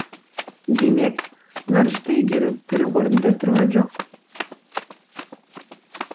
демек ғарышты игеру бір орында тұрған жоқ